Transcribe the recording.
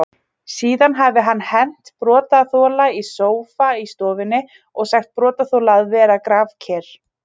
Svo virðist sem falast verði eftir Þórði Guðjónssyni í félagaskiptaglugganum nú í janúar.